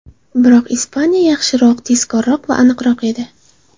Biroq Ispaniya yaxshiroq, tezkorroq va aniqroq edi.